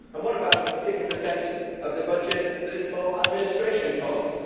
What about the six per cent of the budget that is for administration costs?